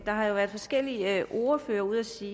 har jo været forskellige ordførere ude at sige